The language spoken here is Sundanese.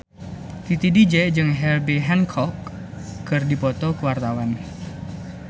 Titi DJ jeung Herbie Hancock keur dipoto ku wartawan